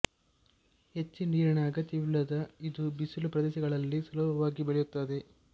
ಹೆಚ್ಚು ನೀರಿನ ಅಗತ್ಯವಿಲ್ಲದ ಇದು ಬಿಸಿಲು ಪ್ರದೇಶಗಳಲ್ಲಿ ಸುಲಭವಾಗಿ ಬೆಳೆಯುತ್ತದೆ